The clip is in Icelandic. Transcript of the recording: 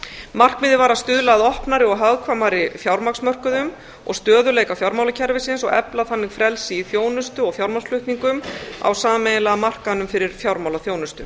markmiðið var að stuðla að opnari og hagkvæmari fjármagnsmörkuðum og stöðugleika fjármálakerfisins og efla þannig frelsi í þjónustu og fjármagnsflutningum á sameiginlega markaðnum fyrir fjármálaþjónustu